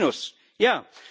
Ein Minus, ja!